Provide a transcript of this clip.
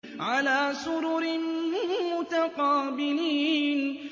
عَلَىٰ سُرُرٍ مُّتَقَابِلِينَ